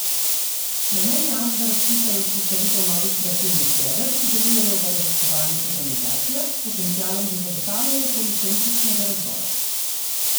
Namen javnega razpisa je vzpostavitev novih kreativnih jeder, ki delujejo v raziskovalnih organizacijah, s potencialom za zagotavljanje policentričnega razvoja.